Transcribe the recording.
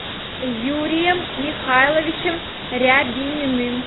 юрием михайловичем рябининым